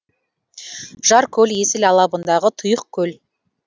жаркөл есіл алабындағы тұйық көл